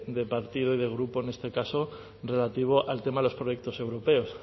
de partido y de grupo en este caso relativo al tema de los proyectos europeos